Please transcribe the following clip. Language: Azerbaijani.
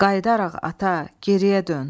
Qayıdaraq ata, geriyə dön.